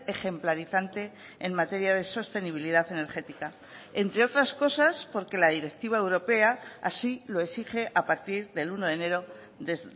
ejemplarizante en materia de sostenibilidad energética entre otras cosas porque la directiva europea así lo exige a partir del uno de enero de